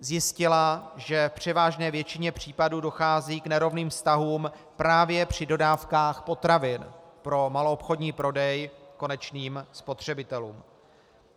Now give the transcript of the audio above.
Zjistila, že v převážné většině případů dochází k nerovným vztahům právě při dodávkách potravin pro maloobchodní prodej konečným spotřebitelům.